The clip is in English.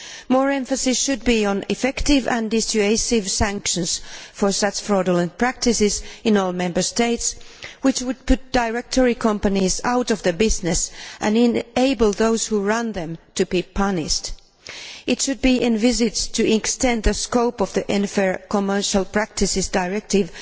More emphasis should be placed on effective and dissuasive sanctions against such fraudulent practices in all Member States, which would put such directory companies out of business and enable those who run them to be punished. It should be envisaged to extend the scope for the Unfair Commercial Practices Directive